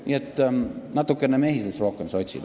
Nii et natukene rohkem mehisust, sotsid!